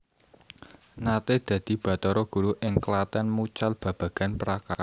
Naté dadi batara guru ing Klatèn mucal babagan prakarya